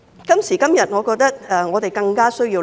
今時今日，我覺得這是我們更加需要思考的。